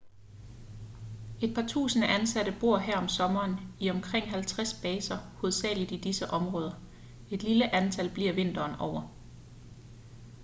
et par tusinde ansatte bor her om sommeren i omkring 50 baser hovedsagelig i disse områder et lille antal bliver vinteren over